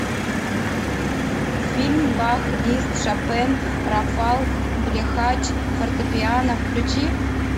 фильм бах лист шопен рафал блехач фортепиано включи